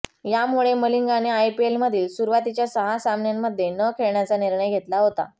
यामुळे मलिंगाने आयपीएलमधील सुरुवातीच्या सहा सामन्यांमध्ये न खेळण्याचा निर्णय घेतला होता